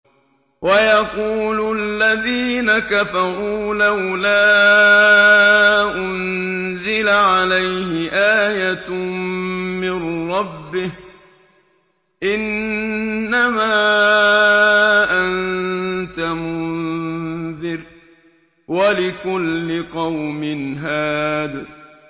وَيَقُولُ الَّذِينَ كَفَرُوا لَوْلَا أُنزِلَ عَلَيْهِ آيَةٌ مِّن رَّبِّهِ ۗ إِنَّمَا أَنتَ مُنذِرٌ ۖ وَلِكُلِّ قَوْمٍ هَادٍ